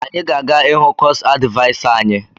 Anyị ga-aga ịhụ kosu advịasa anyi